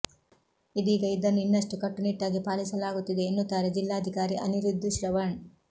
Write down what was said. ಇದೀಗ ಇದನ್ನು ಇನ್ನಷ್ಟು ಕಟ್ಟು ನಿಟ್ಟಾಗಿ ಪಾಲಿಸಲಾಗುತ್ತಿದೆ ಎನ್ನುತ್ತಾರೆ ಜಿಲ್ಲಾಧಿಕಾರಿ ಅನಿರುದ್ಧ್ ಶ್ರವಣ್